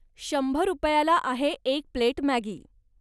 शंभर रुपयाला आहे एक प्लेट मॅगी.